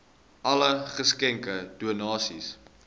alle geskenke donasies